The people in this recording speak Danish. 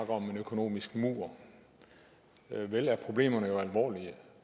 om en økonomisk mur vel er problemerne alvorlige